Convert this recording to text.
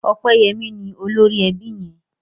Opeyemi ní olórí ẹbí yén